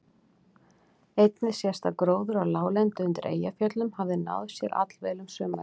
Einnig sést að gróður á láglendi undir Eyjafjöllum hafði náð sér allvel um sumarið.